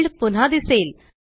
field पुन्हा दिसेल